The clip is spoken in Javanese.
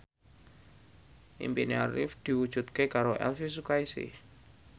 impine Arif diwujudke karo Elvi Sukaesih